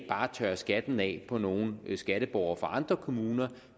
bare tørrer skatten af på nogle skatteborgere fra andre kommuner